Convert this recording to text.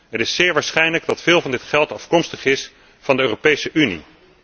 Het is zeer waarschijnlijk dat veel van dit geld afkomstig is van de Europese Unie.